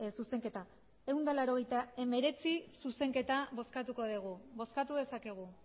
zuzenketa ehun eta laurogeita hemeretzi zuzenketa bozkatuko dugu bozkatu dezakegu